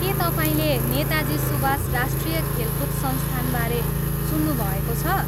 के तपाईँले नेताजी सुभाष राष्ट्रिय खेलकुद संस्थानबारे सुन्नुभएको छ?